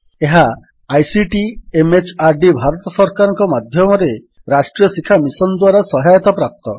ଏହା ICT MHRD Bharat ସରକାରଙ୍କ ମାଧ୍ୟମରେ ରାଷ୍ଟ୍ରୀୟ ଶିକ୍ଷା ମିଶନ୍ ଦ୍ୱାରା ସହାୟତାପ୍ରାପ୍ତ